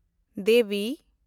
ᱫᱮᱵᱤ